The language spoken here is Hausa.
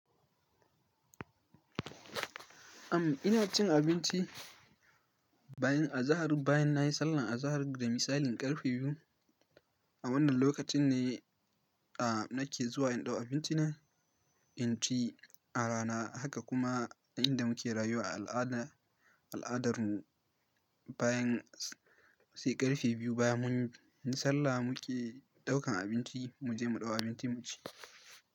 Am, ina cin abinci bayan azahar, bayan na yi sallar azahar da misalin karfe biyu. A wannan lokacin ne, a, nake zuwa in ɗau abinci na in ci a rana. Haka kuma a inda muke rayuwa a al'ada, al'adar mu, bayan sai ƙarfe biyu baya mun yi sallah muke ɗaukan abinci, mu je mu ɗau abinci mu ci.